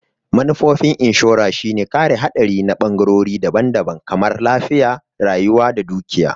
Manufofin inshora shine kare haɗari na ɓangorori daban-daban kamar lafiya, rayuwa da dukiya.